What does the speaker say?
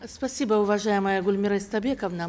спасибо уважаемая гульмира истайбековна